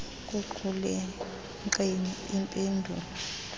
ekuqulunqeni im pendulo